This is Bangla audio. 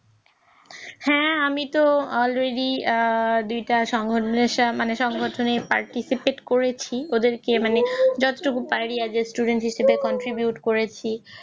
হ্যাঁ, আমি তো Already দুইটা সংগঠনের সংগঠনের করেছি ওদেরকে মানে